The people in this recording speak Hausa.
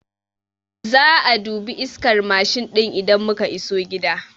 Za'a dubi iskar Mashin ɗin idan muka iso gida